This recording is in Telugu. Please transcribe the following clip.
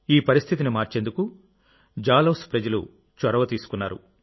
ఈ పరిస్థితిని మార్చేందుకు జాలౌన్ ప్రజలు చొరవ తీసుకున్నారు